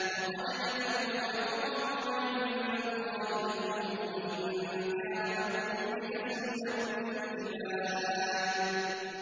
وَقَدْ مَكَرُوا مَكْرَهُمْ وَعِندَ اللَّهِ مَكْرُهُمْ وَإِن كَانَ مَكْرُهُمْ لِتَزُولَ مِنْهُ الْجِبَالُ